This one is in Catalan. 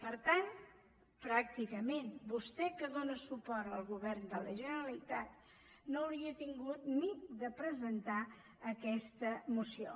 per tant pràcticament vostè que dóna suport al govern de la generalitat no hauria hagut ni de presentar aquesta moció